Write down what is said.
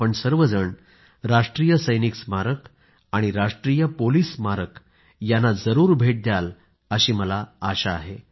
आपण सर्वजण राष्ट्रीय सैनिक स्मारक आणि राष्ट्रीय पोलिस स्मारक यांना जरूर भेट द्याल अशी आशा मला आहे